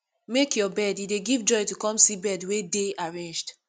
make your bed e dey give joy to come back see bed wey dey arranged